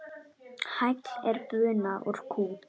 Hagl er buna úr kú.